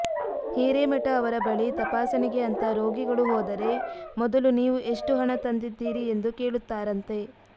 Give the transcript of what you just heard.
ಹಿರೇಮಠ ಅವರ ಬಳಿ ತಪಾಸಣೆಗೆ ಅಂತಾ ರೋಗಿಗಳು ಹೋದರೆ ಮೊದಲು ನೀವು ಎಷ್ಟು ಹಣ ತಂದಿದ್ದೀರಿ ಎಂದು ಕೇಳುತ್ತಾರಂತೆ